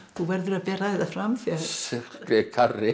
þú verður að bera þetta fram